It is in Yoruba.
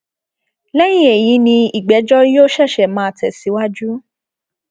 lẹyìn èyí ni ìgbẹjọ yóò ṣẹṣẹ máa tẹsíwájú